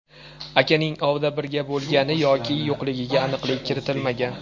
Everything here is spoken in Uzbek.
Akaning ovda birga bo‘lgan yoki yo‘qligiga aniqlik kiritilmagan.